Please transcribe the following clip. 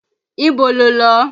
Ibo lo lọ?